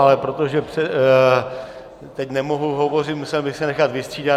Ale protože teď nemohu hovořit, musel bych se nechat vystřídat.